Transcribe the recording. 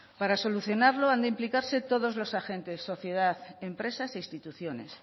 para solucionarlo han de implicarse todos los agentes sociedad empresas e instituciones